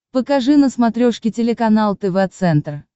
покажи на смотрешке телеканал тв центр